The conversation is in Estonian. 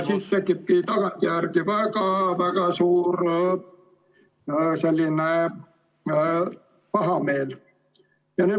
Siis tekibki tagantjärgi väga-väga suur pahameel.